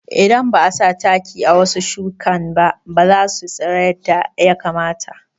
Idan ba'a sa taki a wasu shukinba basu tsira yadda ya kamata